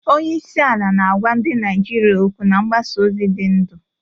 Onye isi ala na-agwa ndị Naijiria okwu na mgbasa ozi dị ndụ